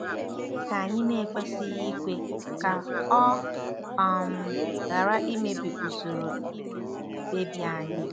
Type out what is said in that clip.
Gịnị ka anyị na-ekwesịghị ikwe ka ọ um ghara imebi usoro ime mkpebi anyị?